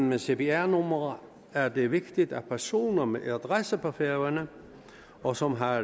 med cpr numre er det vigtigt at personer med adresse på færøerne og som har